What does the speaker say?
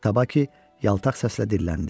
Tabaki yaltaq səslə dilləndi.